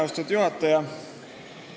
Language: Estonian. Austatud juhataja!